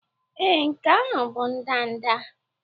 Ee, nke ahụ bụ ndanda.